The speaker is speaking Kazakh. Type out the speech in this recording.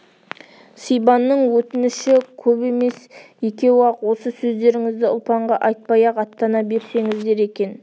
сибанның өтініші кеп емес екеу-ақ осы сөздеріңізді ұлпанға айтпай-ақ аттана берсеңіздер екен